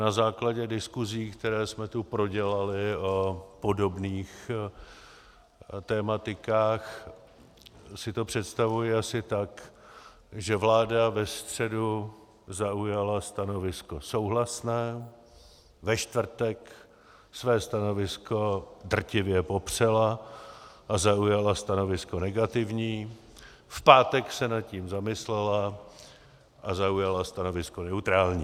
Na základě diskuzí, které jsme tu prodělali o podobných tematikách, si to představuji asi tak, že vláda ve středu zaujala stanovisko souhlasné, ve čtvrtek své stanovisko drtivě popřela a zaujala stanovisko negativní, v pátek se nad tím zamyslela a zaujala stanovisko neutrální.